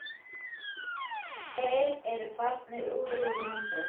Þeir eru farnir úr landi.